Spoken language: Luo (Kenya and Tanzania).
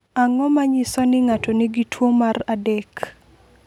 Ang’o ma nyiso ni ng’ato nigi tuwo mar 3?